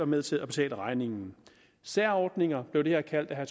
med til at betale regningen særordninger blev det her kaldt af